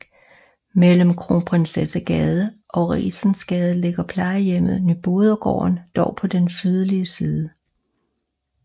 Mellem Kronprinsessegade og Rigensgade ligger plejehjemmet Nybodergaarden dog på den sydlige side